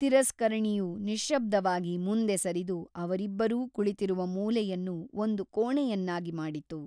ತಿರಸ್ಕರಣಿಯು ನಿಶ್ಯಬ್ದವಾಗಿ ಮುಂದೆ ಸರಿದು ಅವರಿಬ್ಬರೂ ಕುಳಿತಿರುವ ಮೂಲೆಯನ್ನು ಒಂದು ಕೋಣೆಯನ್ನಾಗಿ ಮಾಡಿತು.